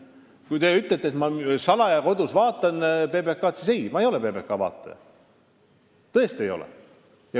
Kui te ütlete, et ma vaatan kodus salaja PBK-d, siis ei, ma ei ole PBK vaataja – tõesti ei ole.